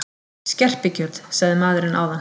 Skerpikjöt, sagði maðurinn áðan.